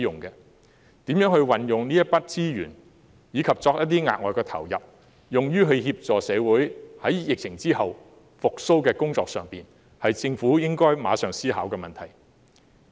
如何運用這筆資源，以及再投入一些額外資源，以協助社會疫後復蘇，是政府應該立即思考的問題。